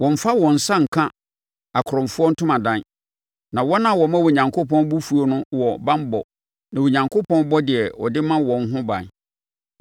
Wɔmmfa wɔn nsa nka akorɔmfoɔ ntomadan, na wɔn a wɔma Onyankopɔn bo fuo no wɔ banbɔ na Onyankopɔn bɔ deɛ ɔde ma wɔn ho ban.